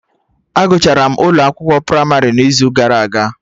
A gụchara m ụlọ akwụkwọ pramarị n'izu gara aga